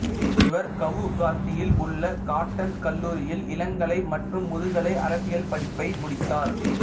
இவர் கவுகாத்தியில் உள்ள காட்டன் கல்லூரியில் இளங்கலை மற்றும் முதுகலை அரசியல் படிப்பை முடித்தார்